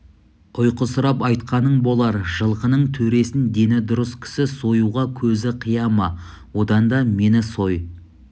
ұйқысырап айтқаның болар жылқының төресін дені дұрыс кісі союға көзі қия ма одан да мені сой